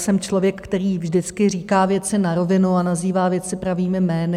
Jsem člověk, který vždycky říká věci na rovinu a nazývá věci pravými jmény.